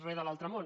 re de l’altre món